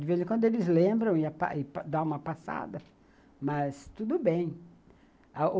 De vez em quando eles lembram e dão uma passada, mas tudo bem.